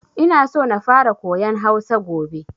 Ina so na fara koyan Hausa gobe.